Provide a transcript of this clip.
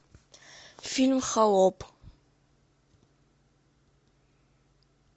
фильм холоп